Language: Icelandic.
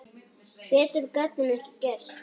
Betur gat hún ekki gert.